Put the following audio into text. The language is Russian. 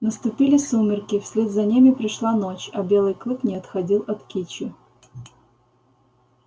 наступили сумерки вслед за ними пришла ночь а белый клык не отходил от кичи